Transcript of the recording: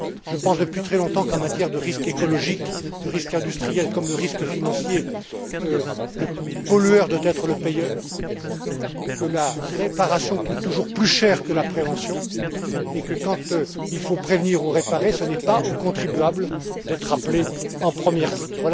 Je pense depuis très longtemps qu'en matière de risque écologique, de risque industriel comme de risque financier, le pollueur doit être le payeur, que la réparation coûte toujours plus cher que la prévention et que, quand il faut prévenir ou réparer, ce n'est pas aux contribuables d'être appelés en première ligne.